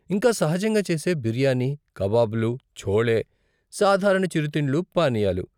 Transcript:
ఇంకా సహజంగా చేసే బిర్యానీ, కబాబ్లు, ఛోలే, సాధారణ చిరుతిండ్లు, పానీయాలు.